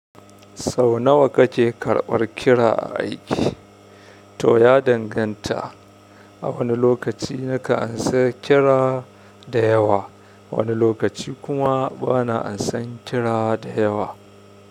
Sau nawa kake karɓar kira a aiki? To ya danganta, a wani lokaci nakan amsa kira da yawa, wani lokaci kuma bana amsan kira da yawa.